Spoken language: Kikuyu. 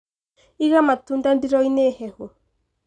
Iga matunda ndiro-inĩ hehu.